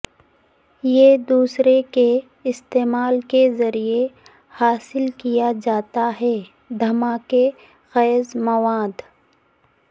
یہ دوسرے کے استعمال کے ذریعے حاصل کیا جاتا ہے دھماکہ خیز مواد